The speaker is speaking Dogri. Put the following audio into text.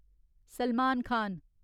सलमान खान